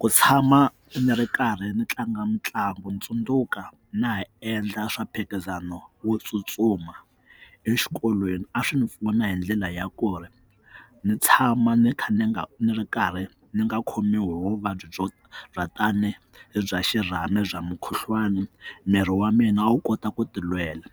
Ku tshama ni ri karhi ni tlanga mitlangu ni tsundzuka na ha endla swa mphikizano wo tsutsuma exikolweni a swi ni pfuna hi ndlela ya ku ri ni tshama ni kha ni nga ni ri karhi ni nga khomiwi hi vuvabyi byo rhatane bya xirhami bya mukhuhlwani miri wa mina a wu kota ku tilwela